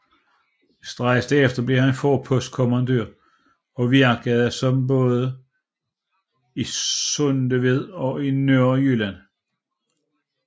Straks derefter blev han forpostkommandør og virkede som sådan både i Sundeved og i Nørrejylland